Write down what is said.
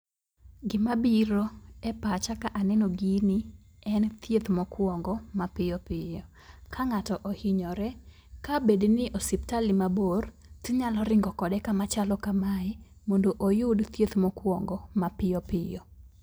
Gima biro e pacha kaneno gini en thieth mokwongo mapiyo piyo .Ka ng'ato ohinyore kabed ni osiptal ni mabor, tinyalo ringo kode kama machalo kamae mondo oyud thieth mokuongo mapiyopiyo.